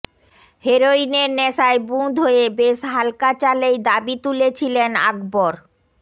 হেরোইনের নেশায় বুঁদ হয়ে বেশ হাল্কা চালেই দাবি তুলেছিলেন আকবর